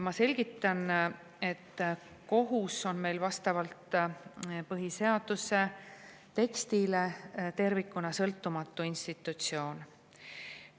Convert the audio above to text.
Ma selgitan, et kohus on meil vastavalt põhiseaduse tekstile tervikuna sõltumatu institutsioon.